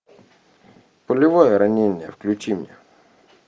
пулевое ранение включи мне